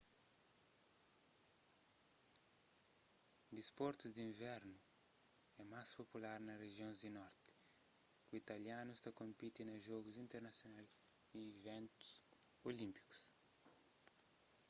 disportus di invernu é más popular na rijions di norti ku italianus ta konpiti na jogus internasional y iventus olínpikus